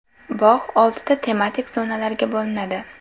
Bog‘ oltita tematik zonalarga bo‘linadi.